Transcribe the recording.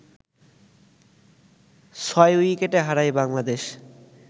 ছয় উইকেটে হারায় বাংলাদেশ